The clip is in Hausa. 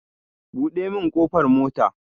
Buɗe min ƙofar motar